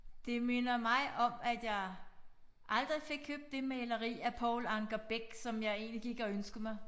Det minder mig om at jeg aldrig fik købt det maleri af Poul Anker Bech som jeg egentlig gik og ønskede mig